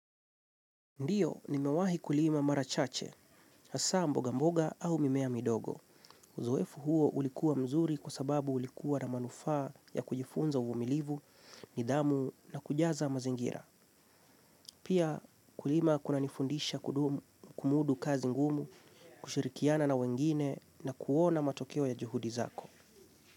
Ndiyo, nimewahi kulima mara chache, hasa mboga mboga au mimea midogo. Uzoefu huo ulikuwa mzuri kwa sababu ulikuwa na manufaa ya kujifunza uvumilivu, nidhamu na kujaza mazingira. Pia kulima kunanifundisha kudumu kumudu kazi ngumu, kushirikiana na wengine na kuona matokeo ya juhudi zako.